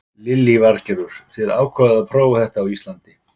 Lillý Valgerður: Þið ákváðuð að prófa þetta á Íslandi?